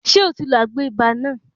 Ṣé o ti lo àgbo ibà náà?